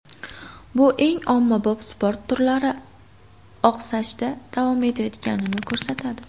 Bu eng ommabop sport turlari oqsashda davom etayotganini ko‘rsatadi.